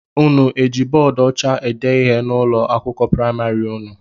Ụnụ jị bọọdu ọcha ede ihe n'ụlọ akwụkwọ praịmarị ụnụ?